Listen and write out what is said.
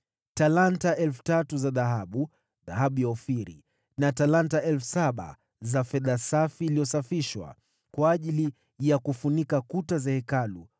talanta 3,000 za dhahabu (dhahabu ya Ofiri) na talanta 7,000 za fedha safi iliyosafishwa, kwa ajili ya kufunika kuta za Hekalu,